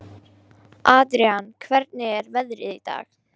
Adrian, hvernig er veðrið í dag?